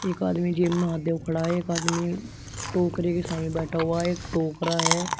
एक आदमी जब में हाथ देव खड़ा है। एक आदमी टोकरे के सामे बैठा हुआ है। एक टोकरा है।